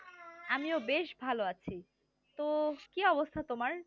আমিও বেশ ভালো আছি তো কি অবস্থা তোমার